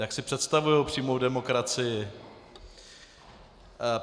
Jak si představují přímou demokracii.